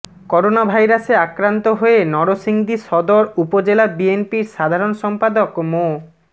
করোনাভাইরাসে আক্রান্ত হয়ে নরসিংদী সদর উপজেলা বিএনপির সাধারণ সম্পাদক মো